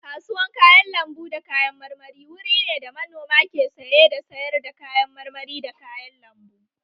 Kasuwan kayan lambu da kayan marmari wuri ne da manoma ke saye da sayar da kayan marmari da kayan lambu